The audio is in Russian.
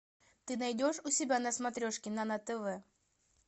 ты найдешь у себя на смотрешке нано тв